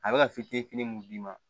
A bɛ ka fitinin mun d'i ma